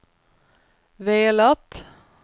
velat